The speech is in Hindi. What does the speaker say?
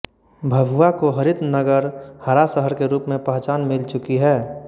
भभुआ को हरित नगर हरा शहर के रूप में पहचान मिल चुकी है